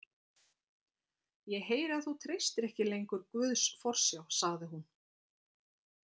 Ég heyri að þú treystir ekki lengur Guðs forsjá, sagði hún.